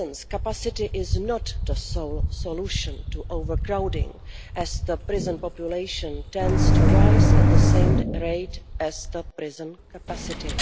prisons' capacity is not the sole solution to overcrowding as the prison population tends to rise at the same rate as prison capacity.